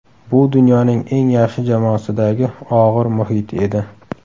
Bu dunyoning eng yaxshi jamoasidagi og‘ir muhit edi.